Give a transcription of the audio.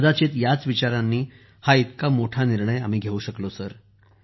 कदाचित याच विचारांनी हा इतका मोठा निर्णय आम्ही घेऊ शकलो